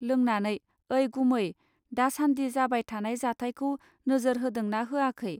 लोंनानै ओइ गुमै, दासान्दि जाबाय थानाय जाथायखौ नोजोर होदोंना होआखै